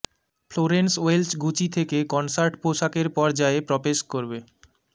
Florence Welch Gucci থেকে concert পোশাকের পর্যায়ে প্রবেশ করবে